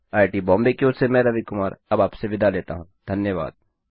I I T Bombay की ओर से मैं रवि कुमार अब आपसे विदा लेता हूँ धन्यवाद